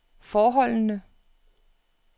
forholdene